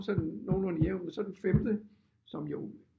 Sådan nogenlunde jævnt men så den femte som jo